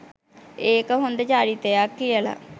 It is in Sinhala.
ඒක හොඳ චරිතයක් කියල